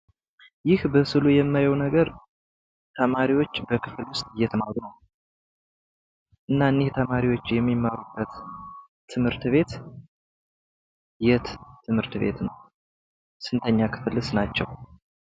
ይህ በስዕሉ የማየው ነገር ተማሪዎች በክፈል ውስጥ እየተማሩ ነው። እና እኒህ ተማሪዎች የሚመሩበት የሚማሩበት ትምህርት ቤት የት ትምህርት ቤት ነው? ስንተኛ ክፍልስ ናቸው?